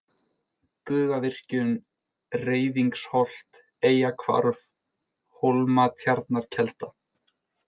Bugavirkjun, Reyðingsholt, Eyjahvarf, Hólmatjarnarkelda